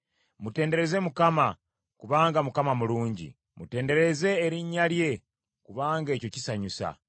Mutendereze Mukama , kubanga Mukama mulungi; mutendereze erinnya lye kubanga ekyo kisanyusa.